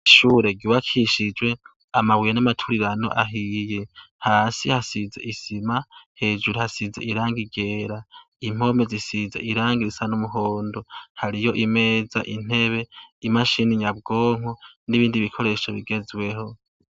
Ishure giwe akishijwe amabuye n'amaturirano ahiye hasi hasize isima hejuru hasize iranga igera impome zisize iranga risan'umuhondo hariyo imeza intebe imashini nyabwonko n'ibindi bikoresho bigezweho.